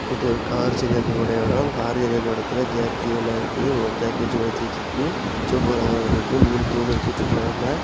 இது ஒரு கார் சரியாக கூடிய இடம் கார் சரியாக்குற எடத்துல ஜாக்கியெல்லா இருக்குது ஒரு ஜாக்கி வச்சி உயர்த்தி வச்சிருக்கு சொவப்பு கலர்ல இருக்கு மூணு தூண் இருக்கு சிவப்பு கலர்ல .